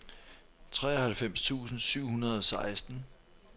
treoghalvfems tusind syv hundrede og seksten